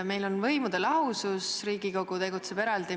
Meil on võimude lahusus, Riigikogu tegutseb eraldi.